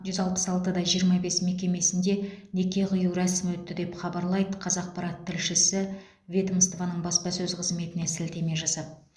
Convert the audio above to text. жүз алпыс алты да жиырма бес мекемесінде неке қию рәсімі өтті деп хабарлайды қазақпарат тілшісі ведомствоның баспасөз қызметіне сілтеме жасап